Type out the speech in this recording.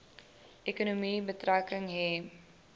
ekonomie betrekking hê